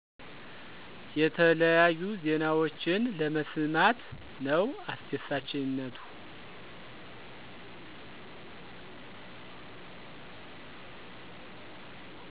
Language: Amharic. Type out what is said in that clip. የተለያዩ ዜናወችን ለመሰማት ነው አሰደሳችነቱ።